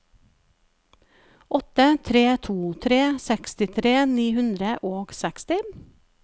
åtte tre to tre sekstitre ni hundre og seksti